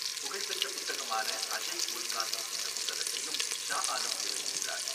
புகழ்பெற்ற புத்தகமான அஜைப் உல் காசஸ் என்ற புத்தகத்தையும் ஷா ஆலம் எழுதியுள்ளார்.